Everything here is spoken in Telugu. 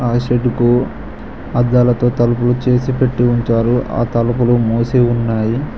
ఆ షెడ్డు కు అద్దాలతో తలుపులు చేసి పెట్టి ఉంచారు ఆ తలుపులు మూసి ఉన్నాయి.